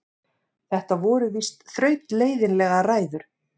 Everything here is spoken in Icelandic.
Þetta voru víst þrautleiðinlegar ræður.